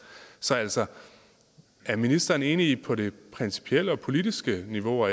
så altså er ministeren enig på det principielle og politiske niveau